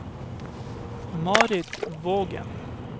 Marit Vågen